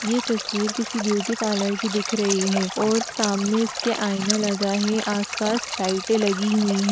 ये तस्वीर किसी ब्यूटी-पार्लर की दिख रही है और सामने उसके आईना लगा है आसपास लाइटें लगी हुईं --